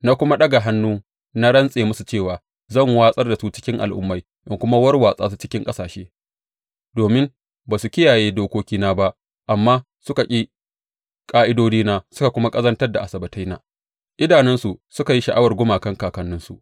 Na kuma ɗaga hannu na rantse musu cewa zan watsar da su cikin al’ummai in kuma warwatsa su cikin ƙasashe, domin ba su kiyaye dokokina ba amma suka ƙi ƙa’idodina suka kuma ƙazantar da Asabbataina, idanunsu suka yi sha’awar gumakan kakanninsu.